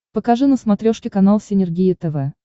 покажи на смотрешке канал синергия тв